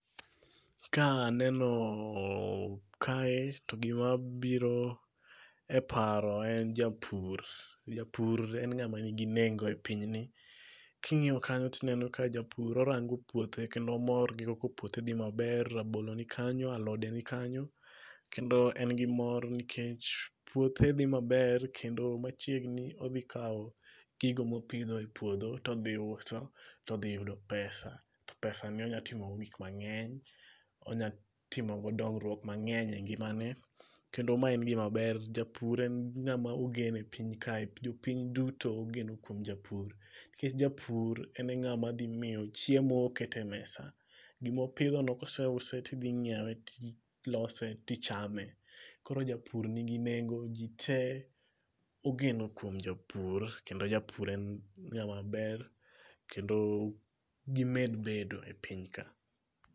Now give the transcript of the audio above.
Ka aneno kae to gima biro e paro en japur. Japur en ng'ama nigi nengo e piny ni Ka ing'iyo kanyo to ineno ka japur ng'iyo puothe kendo omor gi kaka puothe dhi maber, rabolo nikanyo, alode nikanyo kendo en gi mor nikech puothe dhi maber kendo machiegni odhi kawo gigo mopidho e puodho to odhi uso to odhi yudo pesa to pesa ni onyalo timo godo gik mang'eny, onyalo timo godo dongruok mang'eny e ngimane. Kendo ma en gima ber japur en ng'ama ogen e piny kae, jo piny duto ogeno kuom japur, nikech japur en ng'ama dhi miyo chiemo ket e mesa. Gima opidhono koseusi to idhi nyiewe to ilose to idhi chame. Koro japur nigi nengo koro ji tee ogeno kuom japur kendo japur en ng'ama ber kendo gimed bedo e piny ka.